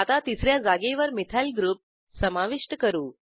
आता तिस या जागेवर मिथाइल ग्रुप समाविष्ट करू